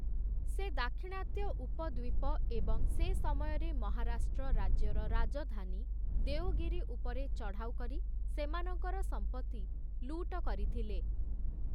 ସେ ଦାକ୍ଷିଣାତ୍ୟ ଉପଦ୍ୱୀପ, ଏବଂ ସେ ସମୟରେ ମହାରାଷ୍ଟ୍ର ରାଜ୍ୟର ରାଜଧାନୀ, ଦେଓଗିରି, ଉପରେ ଚଢ଼ଉ କରି ସେମାନଙ୍କର ସମ୍ପତ୍ତି ଲୁଟ କରିଥିଲେ ।